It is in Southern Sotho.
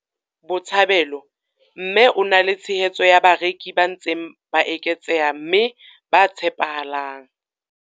Botshabelo mme o na le tshehetso ya bareki ba ntseng ba eketseha mme ba tshepahalang.